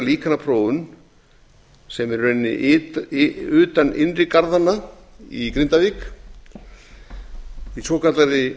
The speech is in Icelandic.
gera líkanaprófun sem er í rauninni utan innri garðanna í grindavík í svokallaðri